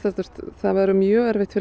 það verður mjög erfitt fyrir